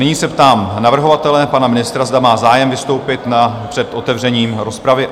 Nyní se ptám navrhovatele, pana ministra, zda má zájem vystoupit před otevřením rozpravy.